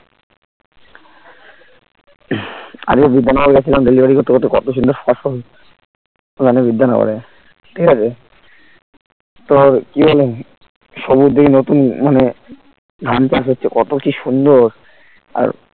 আগে বিধাননগর গেছিলাম delivery করতে কত সুন্দর ফর্সা মানে ঠিক আছে তো আর কি বলে সবুজ দেখি এই নতুন মানে ধান চাষ হচ্ছে কত কি সুন্দর আর